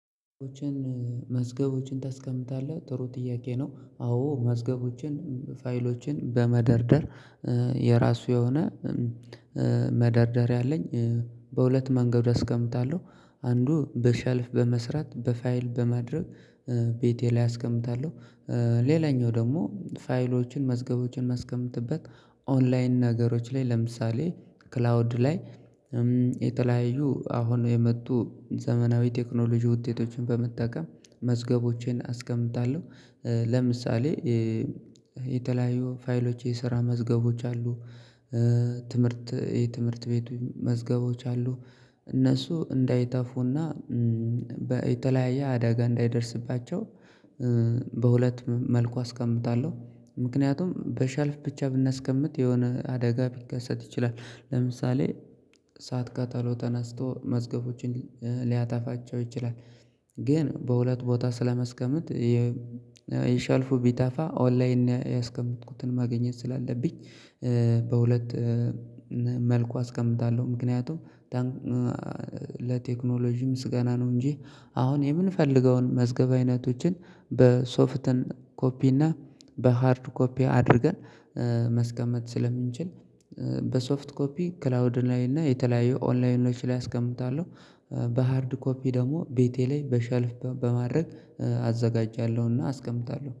መዝገቦችን ታስቀምጣለህ ጥሩ ጥያቄ ነው? አዎ መዝገቦችን ፋይሎችን በመደርደር የራሱ የሆነ መደርደሪያ አለኝ በሁለት መንገድ አስቀምጣለሁ አንዱ በሼልፍ በመስራት በፋይል በማድረግ ቤቴ ላይ አስቀምጣለሁ። ሌላኛው ደግሞ ፋይሎችን መዝገቦችን የማስቀምጥበት ኦንላይን ነገሮች ላይ ለምሳሌ ክላውድ ላይ የተለያዩ አሁን የመጡ ዘመናዊ ቴክኖሎጂ ውጤቶችን በመጠቀም መዝገቦቼን አስቀምጣለሁ። ለምሳሌ የተለያዩ ፋይሎች የስራ መዝገቦች አሉ ትምህርት የትምህርት ቤት መዝገቦች አሉ እነሱ እንዳይጠፉና የተለያየ አደጋ እንዳይደርስባቸው በሁለት መልኩ አስቀምጣለሁ። ምክንያቱም በሼልፍ ብቻ ብናስቀምጥ የሆነ አደጋ ሊከሰት ይችላል ለምሳሌ እሳት ቃጠሎ ተነስቶ መዝገቦችን ሊያጠፋቸው ይችላል። ግን በሁለት ቦታ ስለማስቀመጥ የሼልፉ ቢጠፋ ኦንላይን ያስቀመጥኩትን ማግኘት ስላለብኝ በሁለት መልኩ አስቀምጣለሁ። ምክንያቱም ለቴክኖሎጂ ምስጋና ነው እንጂ አሁን የምንፈልገውን መዝገብ አይነቶችን በሶፍት ኮፒ እና በሃርድ ኮፒ አድርገን ማስቀመጥ ስለምንችል በሶፍት ኮፒ ክላውድ ላይ እና የተለያዩ ኦንላይኖች ላይ አስቀምጣለሁ። በሃርድ ኮፒ ደግሞ ቤቴ ላይ በሼልፍ በማድረግ አዘጋጃለሁና አስቀምጣለሁ